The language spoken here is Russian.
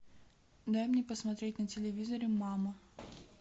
дай мне посмотреть на телевизоре мама